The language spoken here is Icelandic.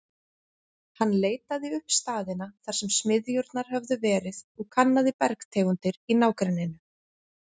Hann leitaði upp staðina, þar sem smiðjurnar höfðu verið, og kannaði bergtegundir í nágrenninu.